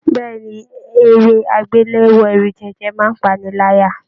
Bẹ̀ẹ́ni, eré agbelewo ẹrujẹjẹ máa n pa'ni láyà.